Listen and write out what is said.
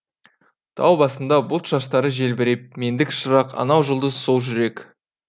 тау басында бұлт шаштары желбіреп мендік шырақ анау жұлдыз сол жүрек